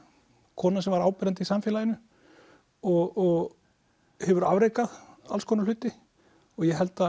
kona sem var áberandi í samfélaginu og hefur afrekað alls konar hluti og ég held að